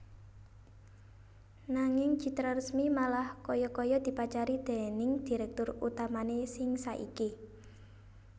Nanging Citraresmi malah kaya kaya dipacari déning direktur utamané sing saiki